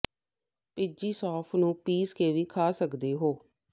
ਭਿੱਜੀ ਸੌਂਫ ਨੂੰ ਪੀਸ ਕੇ ਵੀ ਖਾ ਸਕਦੇ ਹੋ